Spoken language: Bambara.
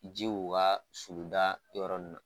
Ji k'u ka suluda yɔrɔ ninnu na